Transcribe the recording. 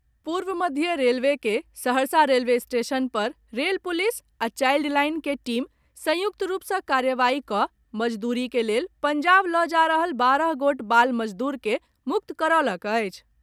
पूर्व मध्य रेलवे के सहरसा रेलवे स्टेशन पर रेल पुलिस आ चाईल्ड लाईन के टीम संयुक्त रूप से कार्रवाई कऽ मजदूरी के लेल पंजाब लऽ जा रहल बारह गोट बाल मजदूर के मुक्त करौलक अछि।